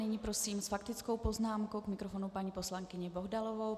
Nyní prosím s faktickou poznámkou k mikrofonu paní poslankyni Bohdalovou.